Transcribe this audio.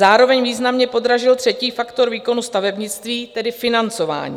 Zároveň významně podražil třetí faktor výkonu stavebnictví, tedy financování.